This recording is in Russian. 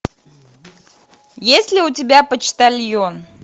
есть ли у тебя почтальон